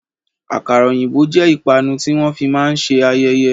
Àkàrà òyìnbó jẹ́ ìpanu tí wọn fi máa ń ṣe ayẹyẹ.